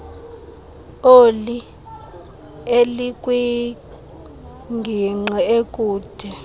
oli elikwingingqi ekude